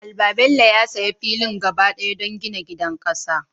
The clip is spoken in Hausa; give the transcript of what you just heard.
Albabello ya sayi filin gaba ɗaya don gina gidan ƙasa.